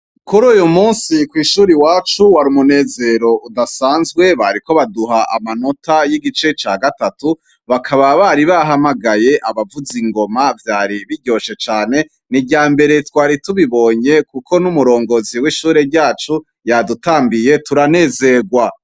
Kuruyu munsi kw'ishure iwacu war'umunezero udasanzwe, bariko abaduha amanota y'igice ca gatatu, bakaba bari bahamagaye abavuz'ingoma vyari biryoshe cane, n'iryambere twari tubibonye, kuko n'umuyobozi w'ishure ryacu yadutambiye turanezerwa.